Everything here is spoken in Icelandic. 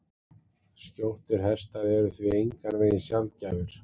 Skjóttir hestar eru því engan veginn sjaldgæfir.